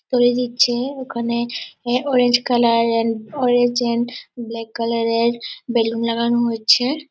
তৈরি দিচ্ছে। ওখানে অরেঞ্জ কালার এর অরেঞ্জ এন্ড ব্ল্যাক কালার এর বেলুন লাগানো হচ্ছে।